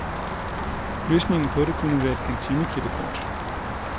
Løsningen på det kunne være at kantineklippekortet.